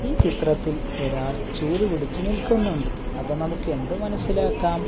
ഈ ചിത്രത്തിൽ ഒരാൾ ചൂല് പിടിച്ച് നിൽക്കുന്നുണ്ട് അപ്പം നമുക്ക് എന്തു മനസ്സിലാക്കാം --